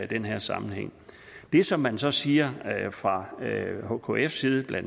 den her sammenhæng det som man så siger fra hkkfs side bla